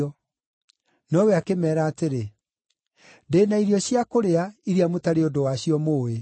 Nowe akĩmeera atĩrĩ, “Ndĩ na irio cia kũrĩa, iria mũtarĩ ũndũ wacio mũũĩ.”